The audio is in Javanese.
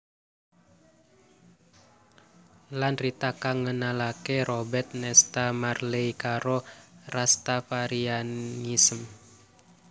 Lan Rita kang ngenalaké Robert Nesta Marley karo Rastafarianism